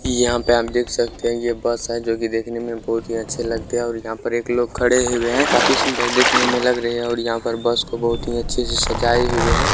इ यहां पे आप देख सकते है ये बस है जो कि देखने मे बहुत ही अच्छे लगते है और यहां पे एक लोग खड़े हुए है देखने मे काफी सुंदर लग रहे है और यहां पे बस को बहुत ही सुंदर से सजाए हुए है ।